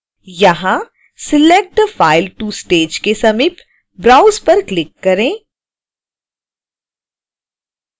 यहाँ select the file to stage के समीप browse पर क्लिक करें